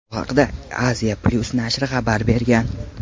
Bu haqda Asia-Plus nashri xabar bergan .